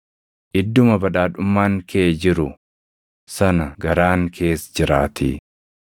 Idduma badhaadhummaan kee jiru sana garaan kees jiraatii.